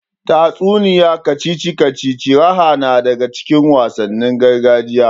Tatsuniya, kacici kacici, raha na daga cikin wasannin gargajiya.